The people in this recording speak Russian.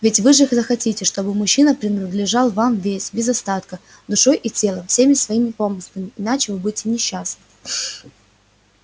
ведь вы же захотите чтобы мужчина принадлежал вам весь без остатка душой и телом всеми своими помыслами иначе вы будете несчастны